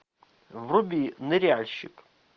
вруби ныряльщик